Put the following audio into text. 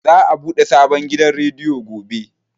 Za a buɗe sabon gidan rediyo gobe.